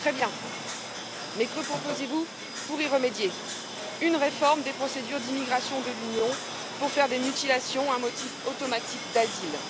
Très bien, mais que proposez vous pour y remédier? Une réforme des procédures d'immigration de l'Union pour faire des mutilations un motif automatique d'asile.